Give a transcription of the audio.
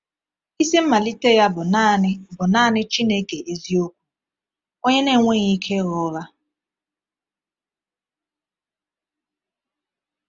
Isi mmalite ya bụ naanị bụ naanị Chineke eziokwu, “onye na-enweghị ike ịgha ụgha.”